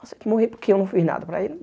Aceito morrer porque eu não fiz nada para ele.